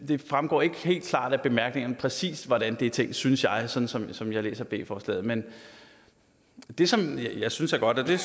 det fremgår ikke helt klart af bemærkningerne præcis hvordan det er tænkt synes jeg sådan sådan som jeg læser b forslaget men det som jeg synes er godt og det